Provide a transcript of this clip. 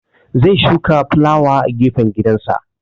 Zai shuka fulawa a gefen gidansa